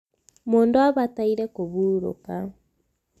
mundu abataire kuhuruka